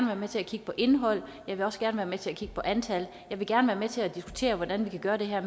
være med til at kigge på indhold jeg vil også gerne være med til at kigge på antal og jeg vil gerne være med til at diskutere hvordan vi kan gøre det her